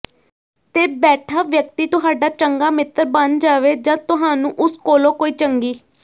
ਤੇ ਬੈਠਾ ਵਿਅਕਤੀ ਤੁਹਾਡਾ ਚੰਗਾ ਮਿੱਤਰ ਬਣ ਜਾਵੇ ਜਾਂ ਤੁਹਾਨੂੰ ਉਸ ਕੋਲੋਂ ਕੋਈ ਚੰਗੀ